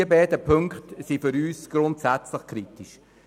Diese beiden Punkte sind für uns grundsätzlich kritisch.